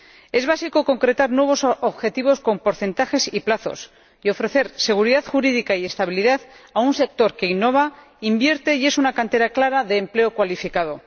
Es básico concretar nuevos objetivos con porcentajes y plazos, y ofrecer seguridad jurídica y estabilidad a un sector que innova, invierte y es una cantera clara de empleo cualificado.